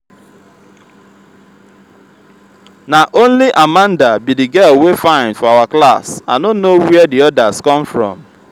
na only amanda be the girl wey fine for our class i no know where the others come from